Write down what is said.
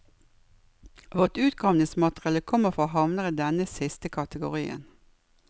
Vårt utgravningsmateriale kommer fra havner i denne siste kategorien.